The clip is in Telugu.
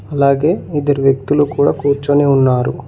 అలాగే ఇద్దరు వ్యక్తులు కూడా కూర్చొని ఉన్నారు.